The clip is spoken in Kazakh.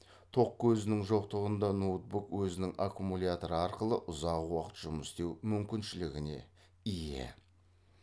тоқ көзінің жоқтығында ноутбук өзінің аккумуляторы арқылы ұзақ уақыт жұмыс істеу мүмкіншілігіне ие